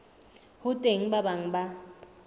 ho teng ba bang ba